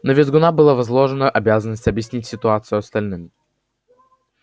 на визгуна была возложена обязанность объяснить ситуацию остальным